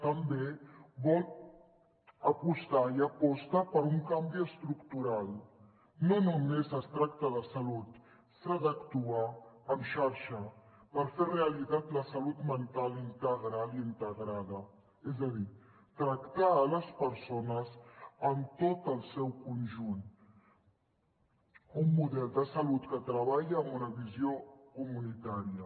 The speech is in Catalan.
també vol apostar i aposta per un canvi estructural no només es tracta de salut s’ha d’actuar en xarxa per fer realitat la salut mental integral i integrada és a dir tractar les persones en tot el seu conjunt un model de salut que treballa amb una visió comunitària